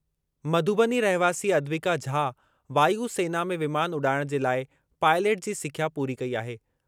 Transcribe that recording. मधुबनी रहिवासी अद्विका झा वायु सेना में विमान उॾाइणु जे लाइ पाइलट जी सिख्या पूरी कई आहे।